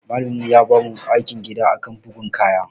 Malamin mu ya bamu aikin gida akan bugun kaya.